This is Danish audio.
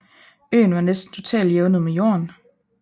Øen var næsten totalt jævnet med jorden